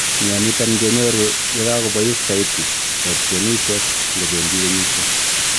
mianiton kenyoru ye kagobois saiti rotyonisiek ngobendii kenyisieg